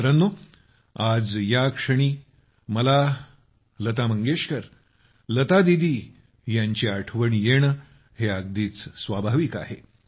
मित्रांनो आज या क्षणी मला लता मंगेशकर लता दीदी यांची आठवण येणे हे अगदीच स्वाभाविक आहे